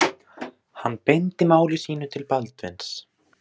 Hann beindi máli sínu til Baldvins.